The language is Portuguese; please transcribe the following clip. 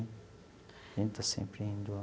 A gente está sempre indo lá.